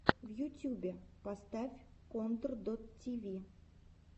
в ютюбе поставь контор дот ти ви